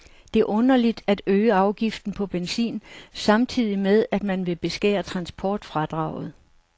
Det er underligt at øge afgiften på benzin samtidig med, at man vil beskære transportfradraget.